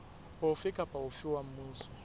ofe kapa ofe wa mmuso